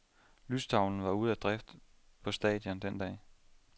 Lystavlen var ude af drift på stadion den dag.